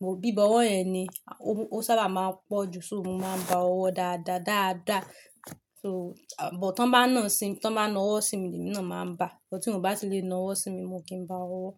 Mo bíbọwọ́ ẹ ni, ó sábà máa ń pọ̀ ju, so mo máa ń ba ọwọ́ dáadáa dáadáa. So, bọ̀ tí wọ́n bá nà sí mi, tí wọ́n bá na ọwọ́ sí mi lẹ́mí náà máa ń ba, ṣùgbọ́n tí wọ́n ò bá ti lè na ọwọ́ sí mi mo kì í ba ọwọ́.